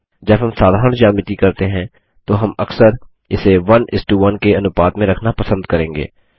जब हम साधारण ज्यामिती करते हैं तो हम अक्सर इसे 11 के अनुपात में रखना पसंद करेंगे